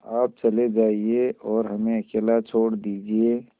आप चले जाइए और हमें अकेला छोड़ दीजिए